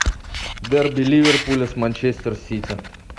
дерби ливерпуля с манчестер сити